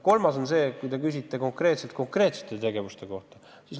Aga te küsisite konkreetsete tegevuste kohta.